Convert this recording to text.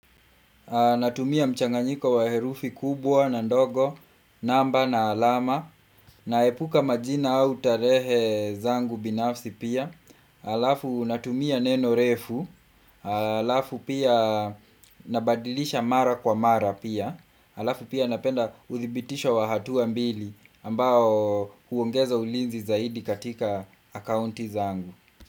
Natumia mchanganyiko wa herufi kubwa na ndogo, namba na alama, naepuka majina au tarehe zangu binafsi pia. Alafu natumia neno refu, alafu pia nabadilisha mara kwa mara pia, alafu pia napenda uthibitisho wa hatua mbili ambao huongeza ulinzi zaidi katika akaunti zangu.